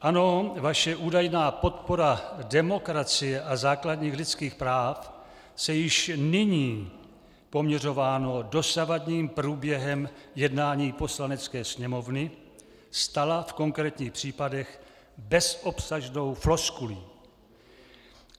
Ano, vaše údajná podpora demokracie a základních lidských práv se již nyní, poměřováno dosavadním průběhem jednání Poslanecké sněmovny, stala v konkrétních případech bezobsažnou floskulí.